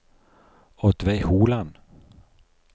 Oddveig Holand